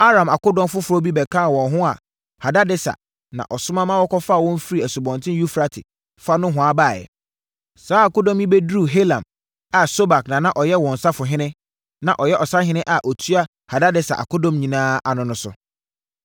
Aram akodɔm foforɔ bi bɛkaa wɔn ho a Hadadeser na ɔsoma ma wɔkɔfaa wɔn firii Asubɔnten Eufrate fa nohoa baeɛ. Saa akodɔm yi bɛduruu Helam a Sobak na na ɔyɛ wɔn ɔsahene, na ɔyɛ ɔsahene a ɔtua Hadadeser akodɔm nyinaa ano nso.